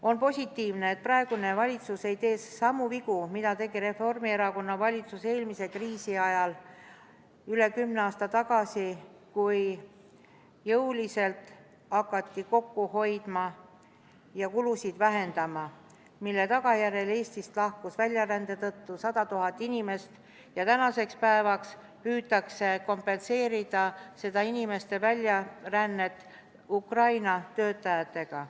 On positiivne, et praegune valitsus ei tee samu vigu, mida tegi Reformierakonna valitsus eelmise kriisi ajal üle kümne aasta tagasi, kui jõuliselt hakati kokku hoidma ja kulusid vähendama, mille tagajärjel Eestist lahkus väljarände tõttu 100 000 inimest ja tänasel päeval püütakse kompenseerida seda inimeste väljarännet Ukraina töötajatega.